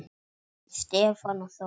Stefán og Þórunn.